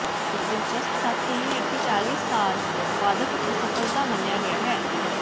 ਇੱਕ ਦਿਲਚਸਪ ਤੱਥ ਇਹ ਹੈ ਕਿ ਚਾਲੀ ਸਾਲ ਵਾਦਕ ਇੱਕ ਅਸਫਲਤਾ ਮੰਨਿਆ ਗਿਆ ਹੈ ਹੈ